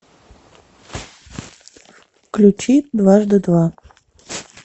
включи дважды два